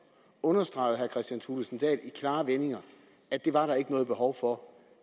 understregede herre kristian thulesen dahl i klare vendinger at det var der ikke noget behov for